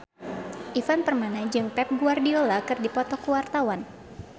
Ivan Permana jeung Pep Guardiola keur dipoto ku wartawan